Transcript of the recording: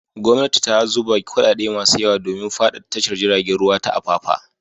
Gwamnati ta zuba kuɗaɗe masu yawa domin faɗaɗa tashar jiragen ruwa ta Apapa.